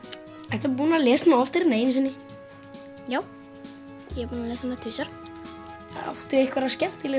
ertu búinn að lesa hana oftar en einu sinni já ég er búinn að lesa hana tvisvar áttu einhverja